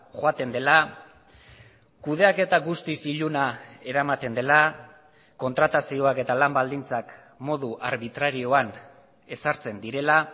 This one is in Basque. joaten dela kudeaketa guztiz iluna eramaten dela kontratazioak eta lan baldintzak modu arbitrarioan ezartzen direla